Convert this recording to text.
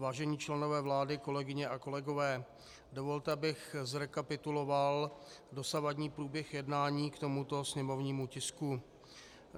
Vážení členové vlády, kolegyně a kolegové, dovolte, abych zrekapituloval dosavadní průběh jednání k tomuto sněmovnímu tisku.